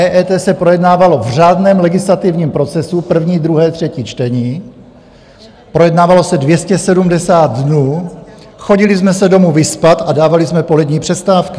EET se projednávalo v řádném legislativním procesu, první, druhé, třetí čtení, projednávalo se 270 dnů, chodili jsme se domů vyspat a dávali jsme polední přestávky.